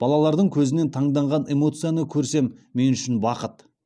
балалардың көзінен таңданған эмоцияны көрсем мен үшін бақыт